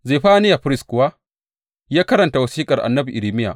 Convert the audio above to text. Zefaniya firist kuwa, ya karanta wasiƙar annabi Irmiya.